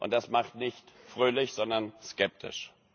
Das macht nicht fröhlich, sondern skeptisch.